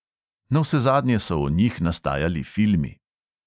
Navsezadnje so o njih nastajali filmi.